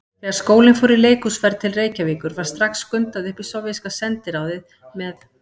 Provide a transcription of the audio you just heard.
Þegar skólinn fór í leikhúsferð til Reykjavíkur var strax skundað upp í sovéska sendiráðið með